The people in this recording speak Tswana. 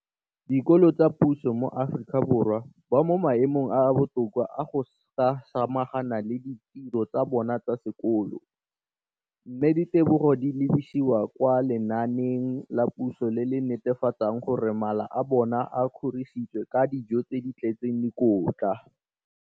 Dikolo tsa puso mo Aforika Borwa ba mo maemong a a botoka a go ka samagana le ditiro tsa bona tsa sekolo, mme ditebogo di lebisiwa kwa lenaaneng la puso le le netefatsang gore mala a bona a kgorisitswe ka dijo tse di tletseng dikotla.